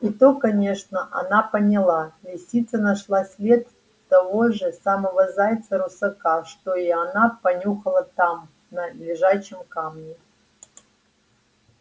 и то конечно она поняла лисица нашла след того же самого зайца-русака что и она понюхала там на лежачем камне